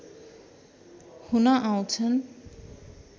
हुन आउँछन्